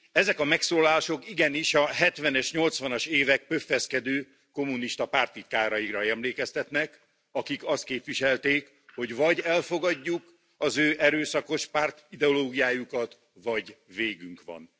Ezek a megszólalások igenis a hetvenes nyolcvanas évek pöffeszkedő kommunista párttitkáraira emlékeztetnek, akik azt képviselték, hogy vagy elfogadjuk az ő erőszakos pártideológiájukat, vagy végünk van.